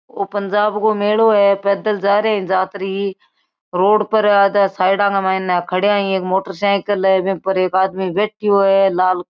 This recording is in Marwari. ओ पंजाब को मेलो है पैदल जारे जात्री रोड पर आदा साइडा का माइने खड़ाया एक मोटरसाइकिल है वे पर एक आदमी बैठ्यो है लाल --